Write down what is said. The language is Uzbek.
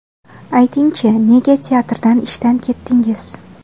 Ayting-chi, nega teatrdan ishdan ketdingiz?